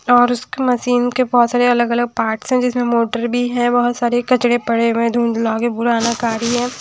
और उसकी मशीन के बहोत सारे अलग अलग पार्ट्स है जिसमें मोटर भी है बहोत सारे कचड़े पड़े हुए है धुंधला के पुराना गाड़ी है।